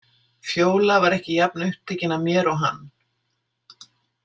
Fjóla var ekki jafn upptekin af mér og hann.